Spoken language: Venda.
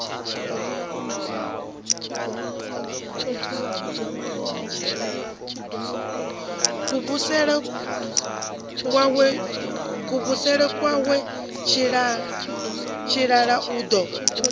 kuvhusele kwawe tshilala o ḓo